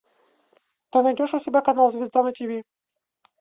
ты найдешь у себя канал звезда на тиви